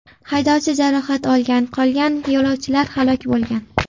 Haydovchi jarohat olgan, qolgan yo‘lovchilar halok bo‘lgan.